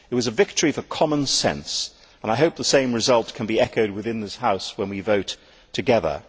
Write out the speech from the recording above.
It was a victory for common sense and I hope the same result can be echoed within this House when we vote together.